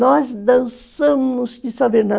Nós dançamos